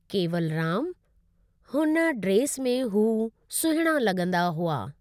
केवलरामु : हुन ड्रेस में हू सुहिणा लॻंदा हुआ।